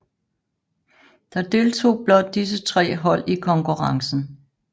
Der deltog blot disse tre hold i konkurrencen